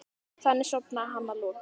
Þannig sofnaði hann að lokum.